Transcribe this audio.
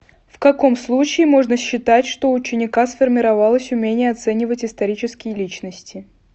в каком случае можно считать что у ученика сформировалось умение оценивать исторические личности